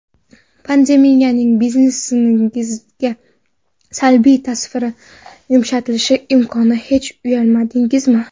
Pandemiyaning biznesingizga salbiy ta’sirni yumshatishni imkonini hech uyladingizmi?